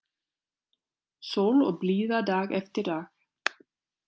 Sól og blíða dag eftir dag.